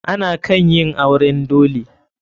Ana kan yin auren dole.